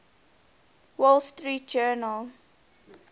wall street journal